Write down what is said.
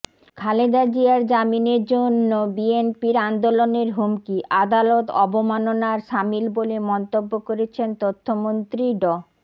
খালেদা জিয়ার জামিনের জন্য বিএনপির আন্দোলনের হুমকি আদালত অবমাননার শামিল বলে মন্তব্য করেছেন তথ্যমন্ত্রী ড